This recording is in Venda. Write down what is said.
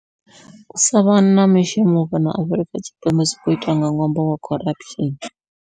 U savha na mishumo fhano Afurika Tshipembe zwi khou itwa nga ṅwambo wa corruption.